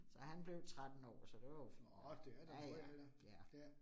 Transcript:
Så han blev 13 år, så det var jo fint nok. Ja ja, ja